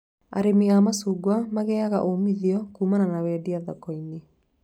Arĩmi a macungwa magĩaga umithio kumana na wendia thoko-inĩ